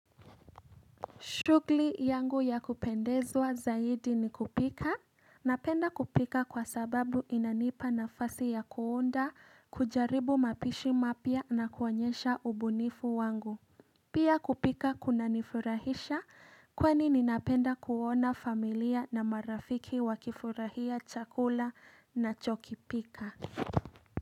Shughuli yangu ya kupendezwa zaidi ni kupika. Napenda kupika kwasababu inanipa na fasi ya kuunda kujaribu mapishi mapya na kuonyesha ubunifu wangu. Pia kupika kunanifurahisha kwani ninapenda kuona familia na marafiki wakifurahia chakula nachokipika.